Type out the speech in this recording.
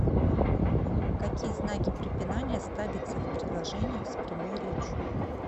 какие знаки препинания ставятся в предложениях с прямой речью